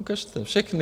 Ukažte všechny!